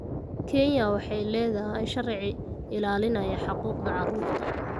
Kenya waxay leedahay sharci ilaalinaya xuquuqda carruurta.